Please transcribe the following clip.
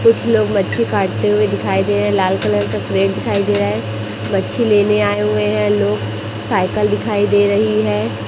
कुछ लोग मच्छी काटते हुए दिखाई दे रहे हैं लाल कलर का प्लेट दिखाई दे रहा है मच्छी लेने आए हुए हैं लोग साइकिल दिखाई दे रही है।